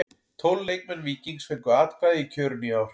Tólf leikmenn Víkings fengu atkvæði í kjörinu í ár.